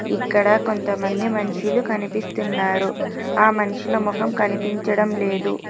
ఇక్కడ కొంతమంది మనుషులు కనిపిస్తున్నారు ఆ మనుషుల ముఖం కనిపించడం లేదు.